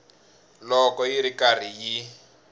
loko yi ri karhi yi